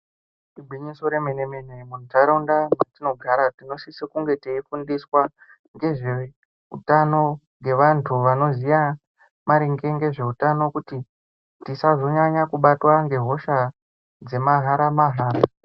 Igwinyiso remene mene, muntaraunda dzatinogara tinosise kunge teifundiswa ngezveutano ngevantu vanoziva maringe ngezveutano kuti tisazonyanya kubatwa ngehosha dzemahara mahara.